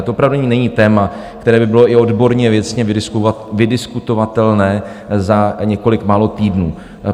A to opravdu není téma, které by bylo i odborně věcně vydiskutovatelné za několik málo týdnů.